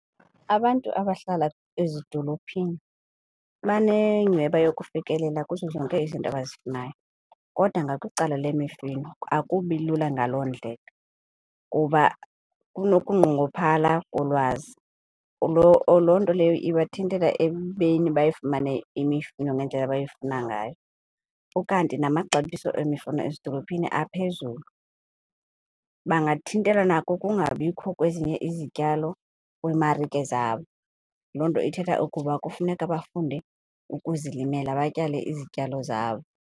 Abantu abahlala ezidolophini banenyhweba yokufikelela kuzo zonke izinto abazifunayo kodwa ngakwicala lemifino, akubi lula ngaloo ndlela kuba kunokunqongophala kolwazi. Loo nto leyo ibathintela ekubeni bayifumane imifino ngendlela abayifuna ngayo. Ukanti namaxabiso emifuno ezidolophini aphezulu, bangathintelwa nakukungabikho kwezinye izityalo kwiimarike zabo. Loo nto ithetha ukuba kufuneka bafunde ukuzilimela, batyale izityalo zabo.